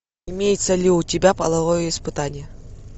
имеется ли у тебя половое испытание